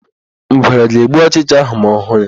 Ngwere ga-egbu ọchịcha áhụ̀ ma ọ hụ ya.